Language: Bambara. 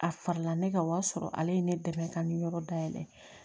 A fara la ne ka o y'a sɔrɔ ale ye ne dɛmɛ ka nin yɔrɔ dayɛlɛ